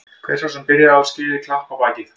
Hver sá sem byrjaði það á skilið klapp á bakið.